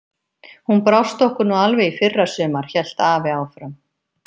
Hún brást okkur nú alveg í fyrra sumar, hélt afi áfram.